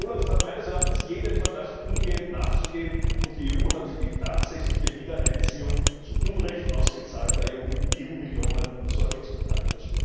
OLAF hat meines Erachtens jedem Verdacht umgehend nachzugehen, und die EU hat für die tatsächliche Wiedereinziehung zu Unrecht ausgezahlter EU Millionen Sorge zu tragen.